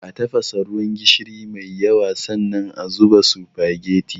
A tafasa ruwan gishiri mai yawa, sannan a zuba sufageti.